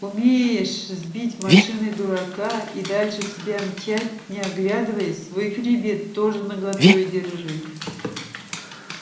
умеешь сбить машиной дурака и дальше себе мчать не оглядываясь свой хребет тоже наготове держи